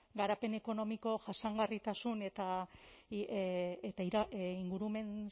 garapen ekonomiko jasangarritasun eta ingurumen